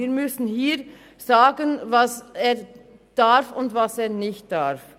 Wir müssen hier sagen, was er darf und was er nicht darf.